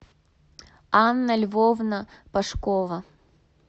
анна львовна пашкова